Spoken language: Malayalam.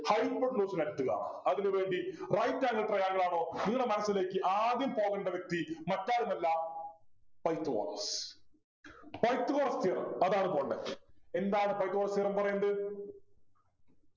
hypotenuse കണ്ടെത്തുക അതിനു വേണ്ടി right angle triangle ആണോ നിങ്ങടെ മനസിലേക്ക് ആദ്യം പോകേണ്ടത് മറ്റാരുമല്ല pythagoras pythagoras theorem അതാണ് പോകേണ്ടത് എന്താണ് pythagoras theorem പറയുന്നത്